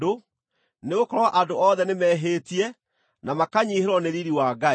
nĩgũkorwo andũ othe nĩmehĩtie na makanyiihĩrwo nĩ riiri wa Ngai,